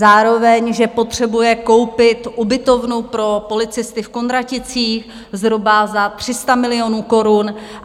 Zároveň že potřebuje koupit ubytovnu pro policisty v Kunraticích zhruba za 300 milionů korun.